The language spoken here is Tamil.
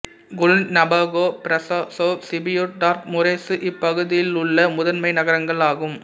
Cluj Napoca Brasov Sibiu Targu Mures இப்பகுதியிலுள்ள முதன்மை நகரங்கள் ஆகும்